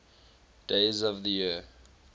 days of the year